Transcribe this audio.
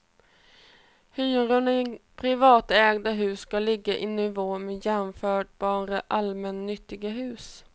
Hyrorna i privatägda hus ska ligga i nivå med jämförbara allmännyttiga hus.